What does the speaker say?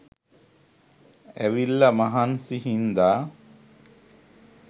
ඇවිල්ල මහන්සි හින්ද